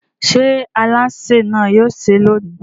Ṣé alásè náà yóò sè é lónìí?